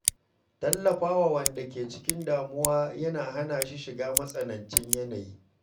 Tallafa wa wanda ke cikin damuwa yana hana shi shiga matsanancin yanayi.